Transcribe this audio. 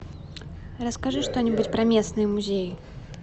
расскажи что нибудь про местные музеи